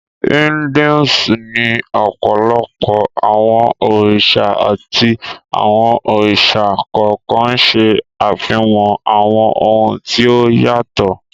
Hinduism ní ọ̀pọ̀lọpọ̀ àwọn òrìṣà àti àwọn òrìṣà kọ̀ọ̀kan ń ṣẹ́ àfihàn àwọn ohun tí ó yàtọ̀